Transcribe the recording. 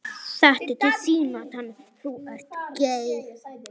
Meira koníak?